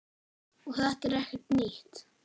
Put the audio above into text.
Og þetta er ekkert nýtt.